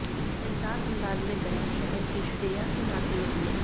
बिंदास अंदाज़ में गया शहर की श्रेया सिन्हा से मिलिए